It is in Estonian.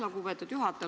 Lugupeetud juhataja!